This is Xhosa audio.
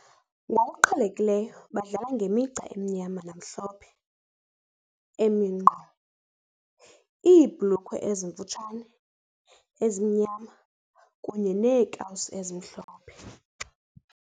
Ngokuqhelekileyo badlala ngemigca emnyama namhlophe emi nkqo, iibhulukhwe ezimfutshane ezimnyama kunye neekawusi ezimhlophe.